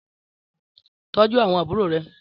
Tòjú áwòn ábúrò rè